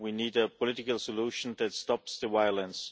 We need a political solution that stops the violence.